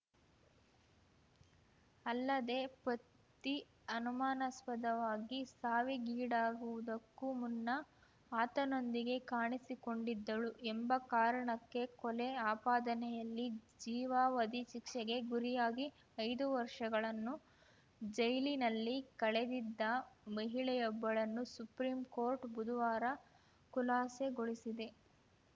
ಅಲ್ಲದೇ ಪತಿ ಅನುಮಾನಾಸ್ಪದವಾಗಿ ಸಾವಿಗೀಡಾಗುವುದಕ್ಕೂ ಮುನ್ನ ಆತನೊಂದಿಗೆ ಕಾಣಿಸಿಕೊಂಡಿದ್ದಳು ಎಂಬ ಕಾರಣಕ್ಕೆ ಕೊಲೆ ಆಪಾದನೆಯಲ್ಲಿ ಜೀವಾವಧಿ ಶಿಕ್ಷೆಗೆ ಗುರಿಯಾಗಿ ಐದು ವರ್ಷಗಳನ್ನು ಜೈಲಿನಲ್ಲಿ ಕಳೆದಿದ್ದ ಮಹಿಳೆಯೊಬ್ಬಳನ್ನು ಸುಪ್ರೀಂಕೋರ್ಟ್‌ ಬುಧವಾರ ಖುಲಾಸೆಗೊಳಿಸಿದೆ